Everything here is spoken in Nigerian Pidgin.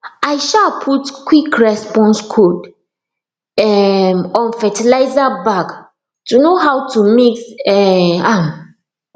i um put quick response code um on fertiliser bag to know how to mix um am